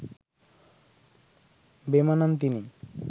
বেমানান তিনি